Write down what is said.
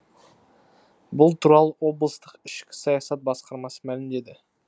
бұл туралы облыстық ішкі саясат басқармасы мәлімдеді